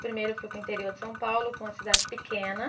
Primeiro, eu fui para o interior de São Paulo, para uma cidade pequena.